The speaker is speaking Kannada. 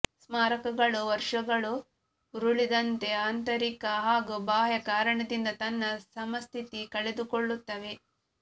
ಸ್ಮಾರಕಗಳು ವರುಷಗಳು ಉರುಳಿದಂತೆ ಆಂತರಿಕ ಹಾಗೂ ಬಾಹ್ಯ ಕಾರಣದಿಂದ ತನ್ನ ಸಮಸ್ಥಿತಿ ಕಳೆದುಕೊಳ್ಳುತ್ತವೆ